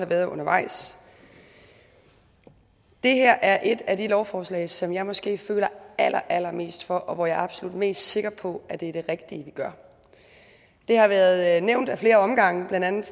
været undervejs det her er et af de lovforslag som jeg måske føler allerallermest for og hvor jeg absolut er mest sikker på at det er det rigtige vi gør det har været nævnt ad flere omgange blandt andet